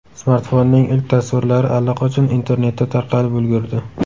Smartfonning ilk tasvirlari allaqachon internetda tarqalib ulgurdi.